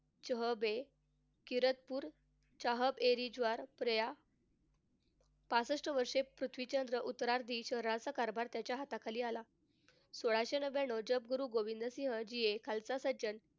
पासष्ट वर्षे पृथ्वीच्या उत्तरार्थी शहराचा कारभार त्याच्या हाताखाली आला. सोळाशे नव्याण्णव जग गुरु गोविंदसिंहजी हे खालसा सज्जन,